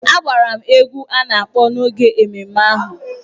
A gbara m egwú a na-akpọ n’oge ememme ahụ.